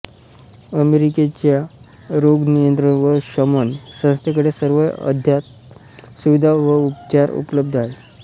अमेरिकेच्या रोग नियंत्रण व शमन संस्थेकडे सर्व अद्ययावत सुविधा व उपचार उपलब्ध आहेत